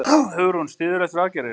Hugrún: Styðurðu þessar aðgerðir?